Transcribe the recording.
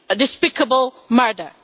despicable murder.